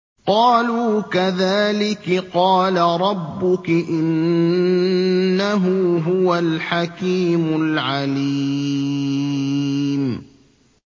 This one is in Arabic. قَالُوا كَذَٰلِكِ قَالَ رَبُّكِ ۖ إِنَّهُ هُوَ الْحَكِيمُ الْعَلِيمُ